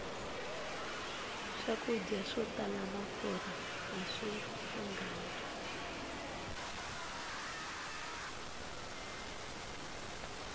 swakudya swo tala mafurha aswi lunghangi